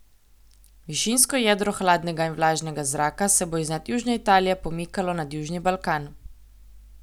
Višinsko jedro hladnega in vlažnega zraka se bo iznad južne Italije pomikalo nad južni Balkan.